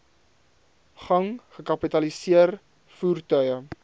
gang gekapitaliseer voertuie